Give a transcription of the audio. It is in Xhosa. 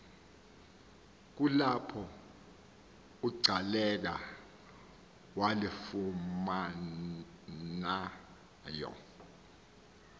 kulapho ugcaleka walifumanayo